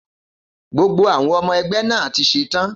Gbogbo àwọn ọmọ ẹgbẹ́ náà ti ṣetán.